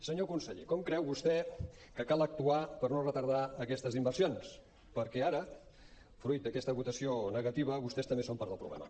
senyor conseller com creu vostè que cal actuar per no retardar aquestes inversions perquè ara fruit d’aquesta votació negativa vostès també són part del problema